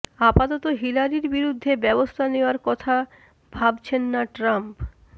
আপাতত হিলারির বিরুদ্ধে ব্যবস্থা নেওয়ার কথা ভাবছেন না ট্রাম্প